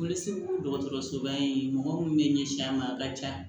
Boli dɔgɔtɔrɔsoba in mɔgɔ minnu bɛ ɲɛsin an ma a ka ca